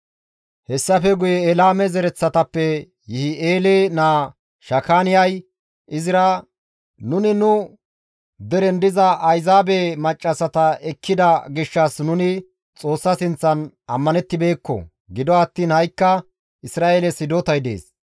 Hessafe guye Elaame zereththatappe Yihi7eele naa Shakaaniyay Izra, «Nuni nu deren diza Ayzaabe maccassata ekkida gishshas nuni Xoossa sinththan ammanettibeekko; gido attiin ha7ikka Isra7eeles hidotay dees.